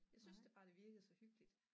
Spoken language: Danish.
Jeg synes da bare det virkede så hyggeligt